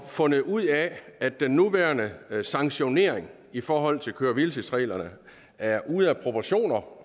fundet ud af at den nuværende sanktionering i forhold til køre hvile tids reglerne er ude af proportioner